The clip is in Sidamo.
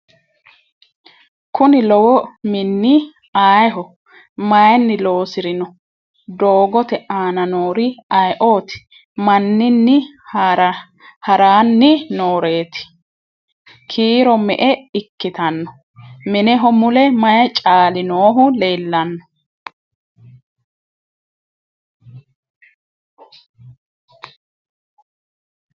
Kuni lowo minni ayiiho? Mayiinni loosirinno? doogotte aanna noori ayiootti? Maninni haranni nooreetti? Kiiro me'e ikkitanno? Mineho mule mayi caalli noohu leellanno?